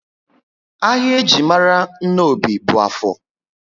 Ahịa eji mara Nnobi bú Áfọr